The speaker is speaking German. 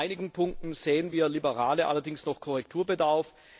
In einigen Punkten sehen wir Liberale allerdings noch Korrekturbedarf.